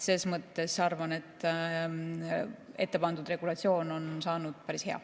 Selles mõttes ma arvan, et ettepandud regulatsioon on saanud päris hea.